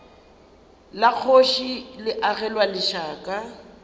la kgoši le agelwa lešaka